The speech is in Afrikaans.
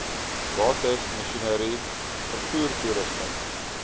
bates masjinerie vervoertoerusting